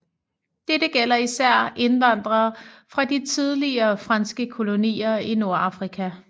Dette gælder især indvandrere fra de tidligere franske kolonier i Nordafrika